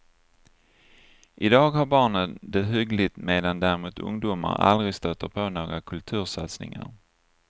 Idag har barnen det hyggligt medan däremot ungdomar aldrig stöter på några kultursatsningar.